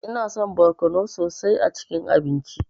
Ina son barkono sosai a cikin abinci.